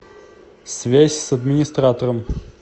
связь с администратором